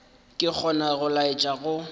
ke gona go laetša go